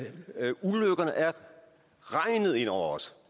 regnet ned over os